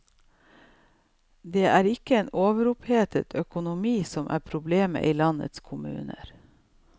Det er ikke en overopphetet økonomi som er problemet i landets kommuner.